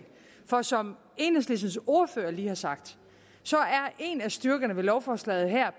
for som enhedslistens ordfører lige har sagt er en af styrkerne ved lovforslaget her